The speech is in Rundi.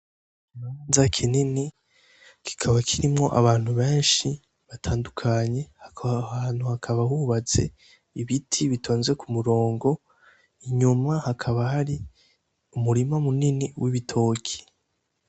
Nza kinini kikaba kirimwo abantu benshi batandukanye haahantu hakaba hubaze ibiti bitonze ku murongo inyuma hakaba hari umurimo munini w'ibitoki.